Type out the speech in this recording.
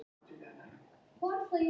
Hvað komast hraðfleygustu þotur hratt?